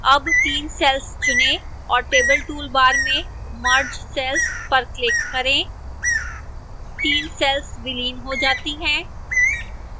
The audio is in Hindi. अब 3 cells चुनें और table toolbar में merge cells पर click करें 3 cells विलीन हो जाती हैं